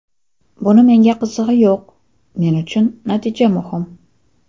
Buni menga qizig‘i yo‘q, men uchun natija muhim.